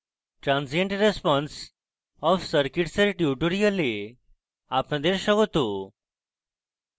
transient response of circuits এর tutorial আপনাদের স্বাগত